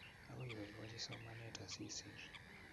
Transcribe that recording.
Agoi iboibochi somanet asisir